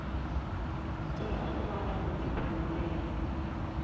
tea u vha na vhuḓifhinduleli